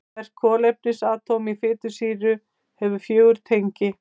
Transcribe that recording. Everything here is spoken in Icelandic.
Hvert kolefnisatóm í fitusýru hefur fjögur tengi.